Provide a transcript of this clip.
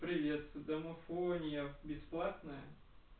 привет домофония бесплатная